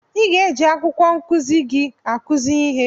I ga-eji akwụkwọ nkụzi gị akụzi ihe.